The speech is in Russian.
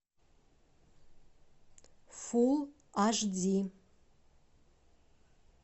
фулл аш ди